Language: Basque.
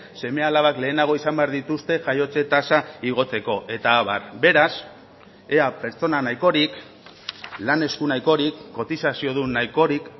seme alabak lehenago izan behar dituzte jaiotze tasa igotzeko eta abar beraz ea pertsona nahikorik lan esku nahikorik kotizaziodun nahikorik